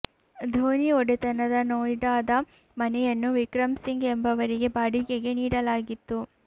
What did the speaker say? ಧೋನಿ ಒಡೆತನದ ನೋಯ್ಡಾದ ಮನೆಯನ್ನು ವಿಕ್ರಂ ಸಿಂಗ್ ಎಂಬವರಿಗೆ ಬಾಡಿಗೆಗೆ ನೀಡಲಾಗಿತ್ತು